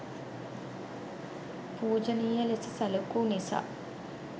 පූජනීය ලෙස සැලකූ නිසා